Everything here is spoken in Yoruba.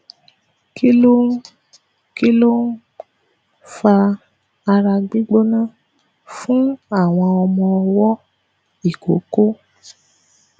kí ló ń kí ló ń fa ara gbigbóná fun awon omo owo ikoko